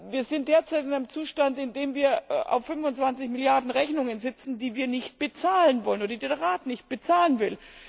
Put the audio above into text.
Wir sind derzeit in einem Zustand, in dem wir auf 25 Milliarden Rechnungen sitzen, die wir nicht bezahlen wollen, die der Rat nicht bezahlen will.